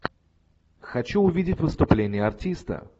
хочу увидеть выступление артиста